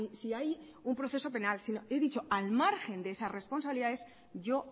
si hay un proceso penal yo he dicho que al margen de esas responsabilidades yo